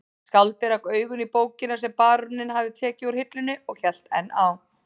Skáldið rak augun í bókina sem baróninn hafði tekið úr hillunni og hélt enn á